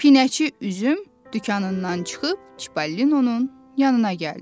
Pinəçi üzüm dükanından çıxıb Çipəlinonun yanına gəldi.